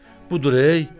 Budur ey!